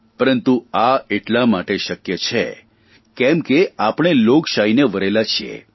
પરંતુ આ એટલા માટે શક્ય છે કેમ કે આપણે લોકશાહીને વરેલા છીએ